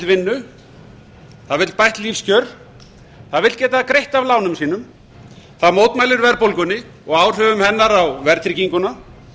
vinnu það vill bætt lífskjör það vill geta greitt af lánum sínum það mótmælir verðbólgunni og áhrifum hennar á verðtrygginguna